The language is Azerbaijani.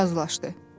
Üzüm razılaşdı.